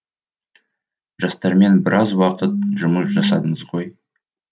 жастармен біраз уақыт жұмыс жасадыңыз ғой